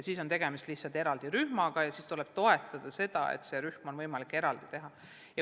Kui on tegemist lihtsalt eraldi rühmaga, siis tulebki toetada, et see eraldi rühm oleks võimalik teha.